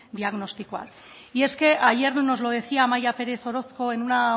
diagnostikoak y es que ayer nos lo decía amaia pérez orozco en una